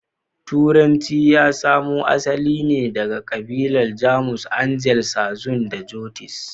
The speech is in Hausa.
Turanci ya samo asali ne daga kabilun Jamus; Angles, Saxon da Jutes.